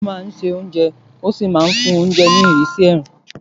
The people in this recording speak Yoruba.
Àdìrò máa ń se oúnjẹ ó sì máa ń fún oúnjẹ ní ìrísí èérún